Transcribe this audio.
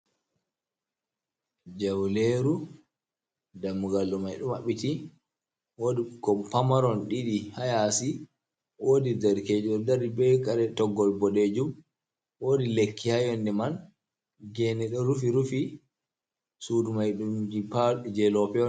Jawleru dammugaldo maidu mabbiti, wodi kompamaron didi hayasi, wodi darkejo ɗo dari be kare toggol boɗeejum, wodi lekki hayonde man gene do rufi rufi, sudu maidumj jelope.